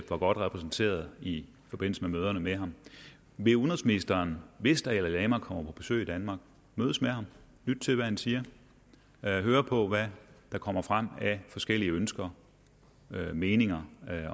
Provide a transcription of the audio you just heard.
godt repræsenteret i forbindelse med møderne med ham vil udenrigsministeren hvis dalai lama kommer på besøg i danmark mødes med ham lytte til hvad han siger høre på hvad der kommer frem af forskellige ønsker og meninger